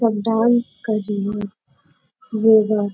सब डांस कर री है ये बा--